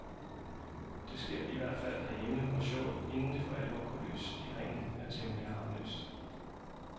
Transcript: Det sker i hvert fald herhjemme, hvor showet inden det for alvor går løs i ringen, er temmelig harmløst.